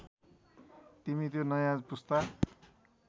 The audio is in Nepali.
तिमी त्यो नयाँ पुस्ता